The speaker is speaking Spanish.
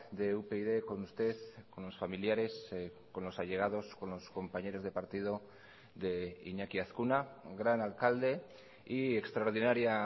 de upyd con usted con los familiares con los allegados con los compañeros de partido de iñaki azkuna gran alcalde y extraordinaria